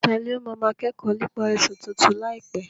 Tani ó máa máa kẹ́kọ̀ọ́ nípa ẹ̀sìn tuntun láìpẹ́?